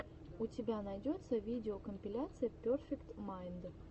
у тебя найдется видеокомпиляция перфект майнд